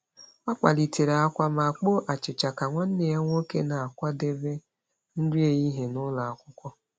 Ọ kpalitere akwa ma kpoo achịcha ka nwanne ya nwoke na-akwadebe nri ehihie ụlọ akwụkwọ.